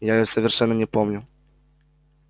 я её совершенно не помню